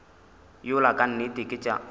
yola ka nnete ke tša